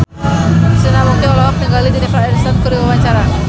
Krishna Mukti olohok ningali Jennifer Aniston keur diwawancara